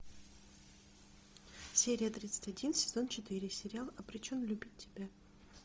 серия тридцать один сезон четыре сериал обречен любить тебя